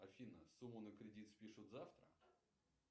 афина сумму на кредит спишут завтра